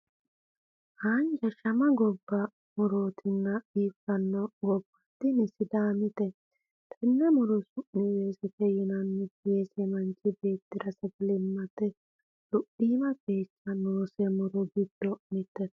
Haanja shama gobba mu'rotenni biifanno gobba tini sidaamite. Tenne mu'ro su'mi weesete yinanni. Weese manchi beettira sagalimmate luphiimu qeechi noose mu'ro giddo mittete.